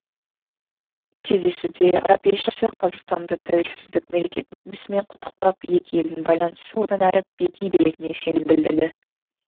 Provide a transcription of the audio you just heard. кездесуде араб елшісі қазақстанды тәуелсіздік мерекесімен құттықтап екі елдің байланысы одан әрі беки беретініне сенім білдірді